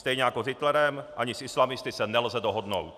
Stejně jako s Hitlerem, ani s islamisty se nelze dohodnout.